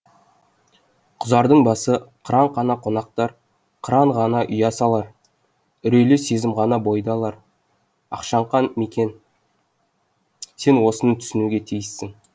құзардың басы қыран қана қонақтар қыран ғана ұя салар үрейлі сезім ғана бойды алар ақшаңқан мекен сен осыны түсінуге тиіссің